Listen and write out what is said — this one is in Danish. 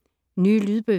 Nye lydbøger